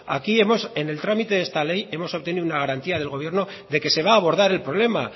aquí en el trámite de esta ley hemos obtenido una garantía del gobierno de que se va a abordar el problema